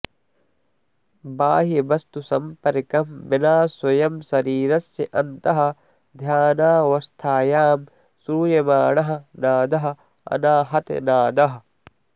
बाह्यवस्तुसम्पर्कं विना स्वयं शरीरस्य अन्तः ध्यानावस्थायां श्रूयमाणः नादः अनाहतनादः